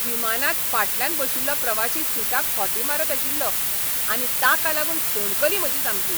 विमानांत फाटल्यान बशिल्लो प्रवाशी सिटाक खोंटी मारत आशिल्लो आनी ताका लागून सणकली म्हजी सामकी.